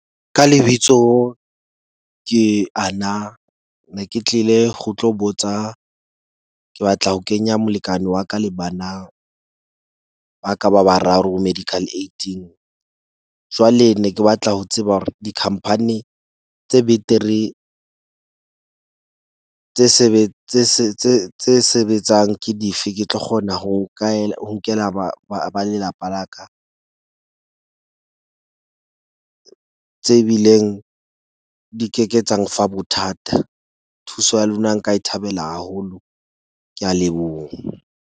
Ka lebitso ke Ana ne ke tlile go tlo botsa. Ke batla ho kenya molekane wa ka le bana ba ka ba bararo ho medical aid, jwale ne ke batla ho tseba hore di-company tse betere tse tse sebetsang ke dife. Ke tlo kgona ho ho nkela ba lelapa laka tse bileng di ke ke tsa mfa bothata. Thuso ya lona nka e thabela haholo. Ke a leboha.